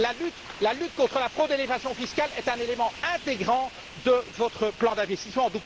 La lutte contre la fraude et l'évasion fiscales est un élément intégrant de votre plan d'investissements